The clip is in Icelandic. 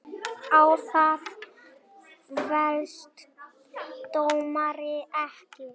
Á það féllst dómari ekki.